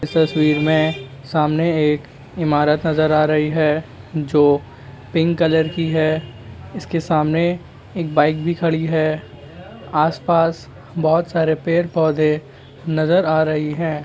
इस तस्वीर में सामने एक इमारत नज़र आ रही है जो पिंक कलर की है इसके सामने एक बाइक भी खड़ी हैआसपास बहुत सरे पेड़-पौधे नज़र आ रहे है।